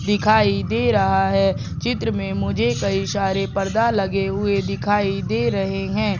दिखाई दे रहा है चित्र में मुझे कई सारे पर्दा लगे हुए दिखाई दे रहे हैं।